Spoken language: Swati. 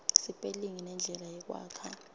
sipelingi nendlela yekwakha